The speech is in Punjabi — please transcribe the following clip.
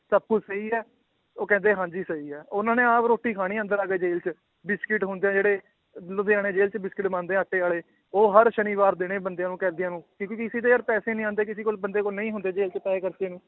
ਸਭ ਕੁਛ ਸਹੀ ਹੈ, ਉਹ ਕਹਿੰਦੇ ਹਾਂਜੀ ਸਹੀ ਹੈ ਉਹਨਾਂ ਨੇ ਆਪ ਰੋਟੀ ਖਾਣੀ ਅੰਦਰ ਆ ਕੇ ਜੇਲ੍ਹ 'ਚ, ਬਿਸਕਿਟ ਹੁੰਦੇ ਹੈ ਜਿਹੜੇ ਲੁਧਿਆਣੇ ਜੇਲ੍ਹ 'ਚ ਬਿਸਕਿਟ ਬਣਦੇ ਹੈ ਆਟੇ ਵਾਲੇ, ਉਹ ਹਰ ਸ਼ਨੀਵਾਰ ਦੇਣੇ ਬੰਦਿਆਂ ਨੂੰ ਕੈਦੀਆਂ ਨੂੰ ਕਿਉਂਕਿ ਕਿਸੇ ਦੇ ਯਾਰ ਪੈਸੇ ਨੀ ਆਉਂਦੇ ਕਿਸੇ ਕੋਲ ਬੰਦੇ ਕੋਲ ਨਹੀਂ ਹੁੰਦੇ ਜੇਲ੍ਹ 'ਚ ਪੈਸੇ ਖਰਚਣ ਨੂੰ